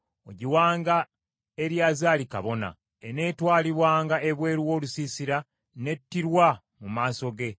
Ogiwanga Eriyazaali kabona; eneetwalibwanga ebweru w’olusiisira n’ettirwa mu maaso ge.